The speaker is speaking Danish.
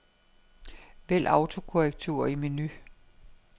Vælg autokorrektur i menu.